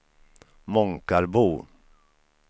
Månkarbo